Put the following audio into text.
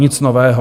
Nic nového.